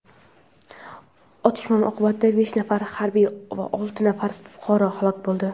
Otishma oqibatida besh nafar harbiy va olti nafar fuqaro halok bo‘ldi.